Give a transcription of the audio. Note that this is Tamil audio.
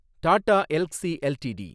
டாடா எல்க்ஸி எல்டிடி